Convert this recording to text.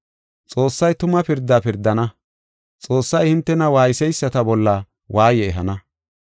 Xoossay tuma pirdaa pirdana. Xoossay hintena waayseysata bolla waaye ehana.